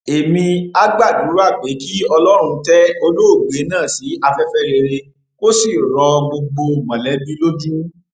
èmia gbàdúrà pé kí ọlọrun tẹ olóògbé náà sí afẹfẹ rere kó sì rọ gbogbo mọlẹbí lójú